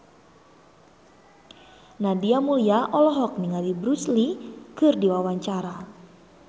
Nadia Mulya olohok ningali Bruce Lee keur diwawancara